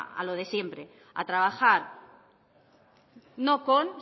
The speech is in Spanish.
a lo de siempre a trabajar no con